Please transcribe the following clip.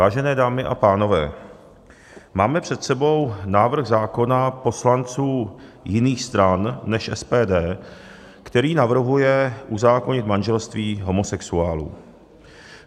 Vážené dámy a pánové, máme před sebou návrh zákona poslanců jiných stran než SPD, který navrhuje uzákonit manželství homosexuálů.